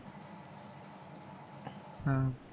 ह